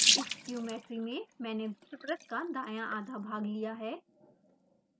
इस ज्योमेट्री में मैंने वृत्त का दाँया आधा भाग लिया है